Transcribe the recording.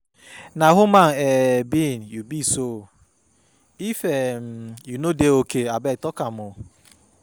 Na human um being you be so, if um you no dey okay abeg talk um o.